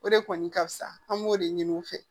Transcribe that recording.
O de kɔni ka fusa an b'o de ɲini u fɛ